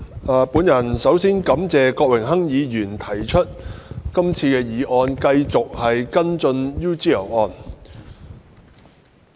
代理主席，首先，我感謝郭榮鏗議員提出這項議案，繼續跟進 UGL 案。